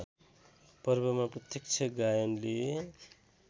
पर्वमा प्रत्यक्ष गायनले